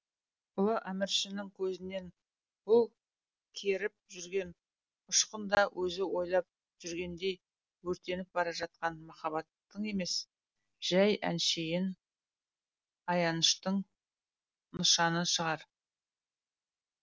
ұлы әміршінің көзінен бұл керіп жүрген ұшқын да өзі ойлап жүргендей өртеніп бара жатқан махаббаттың емес жай әншейін аяныштың нышаны шығар